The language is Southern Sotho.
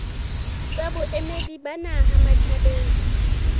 tsa boemedi ba naha matjhabeng